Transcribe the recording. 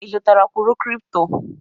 Ị zụtara kwụrụ kripto?